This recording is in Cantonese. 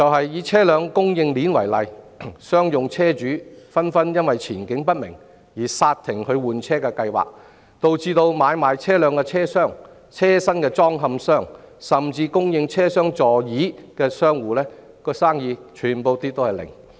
以車輛供應鏈為例，商用車主紛紛因前景不明而剎停換車計劃，導致買賣車輛的車商、車身裝嵌商以至供應車廂座椅的商戶全部零生意。